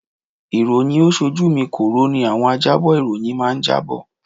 Iroyin ó-ṣojú mi kòró ni àwọn ajábọ̀ ìròyìn máa jábọ̀.